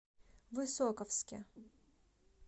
высоковске